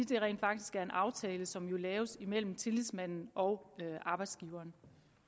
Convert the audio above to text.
det rent faktisk er en aftale som jo laves imellem tillidsmanden og arbejdsgiveren